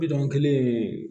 Bidɔn kelen